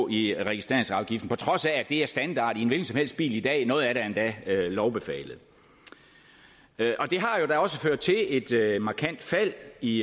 i registreringsafgiften på trods af at det er standard i en hvilken som helst bil i dag og noget af det endda lovbefalet det har da også ført til et markant fald i